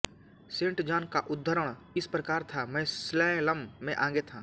Saint John का उद्धरण इस प्रकार था मैं स्लैलम में आगे था